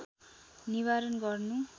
निवारण गर्नु